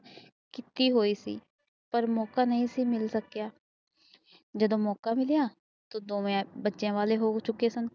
ਕੀਤੇ ਗਏ ਸੀ ਪਰ ਮੌਕਾ ਨਹੁ ਮਿਲ ਸਕਿਆ ਜਦੋ ਮੌਕਾ ਮਿਲੀਆਂ ਤਾ ਦੋਵੇ ਬੱਚਿਆਂ ਵੱਲ ਹੋ ਚੁਕੇ ਸਨ